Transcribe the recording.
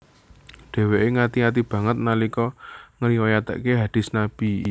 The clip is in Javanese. Dheweke ngati ati banget nalika ngriwayatake hadist Nabi